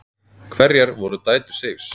Hverjar voru dætur Seifs?